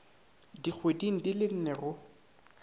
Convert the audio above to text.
dikgweding di le nne go